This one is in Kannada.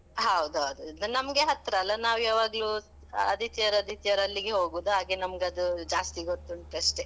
ಹೌದೌದು. ಇದು ನಮ್ಗೆ ಹತ್ರ ಅಲ್ಲ? ನಾವ್ ಯಾವಾಗ್ಲೂ, ಆದಿತ್ಯವಾರ, ಆದಿತ್ಯವಾರ ಅಲ್ಲಿಗೇ ಹೋಗುವುದು. ಹಾಗೆ ನಮ್ಗದು ಜಾಸ್ತಿ ಗೊತ್ತುಂಟಷ್ಟೇ.